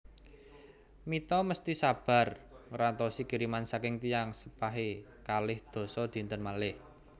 Mita mesti sabar ngrantosi kiriman saking tiyang sepahe kalih dasa dinten malih